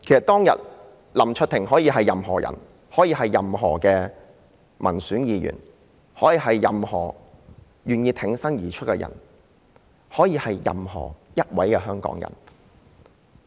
當日林卓廷議員可以是任何人，可以是民選議員、是願意挺身而出的人甚至是任何一位香港人。